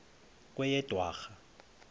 kweyedwarha